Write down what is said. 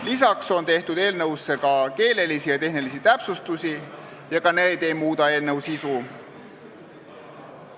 Lisaks on eelnõus tehtud keelelisi ja tehnilisi täpsustusi, ka need ei muuda eelnõu sisu.